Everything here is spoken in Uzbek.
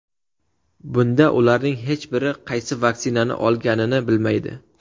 Bunda ularning hech biri qaysi vaksinani olganini bilmaydi.